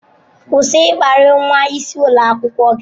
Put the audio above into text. Kwụsị ịkparị nwa isi ulo akwukwo gi!